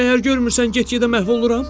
Məgər görmürsən, get-gedə məhv oluram?